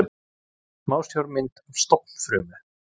Smásjármynd af stofnfrumu.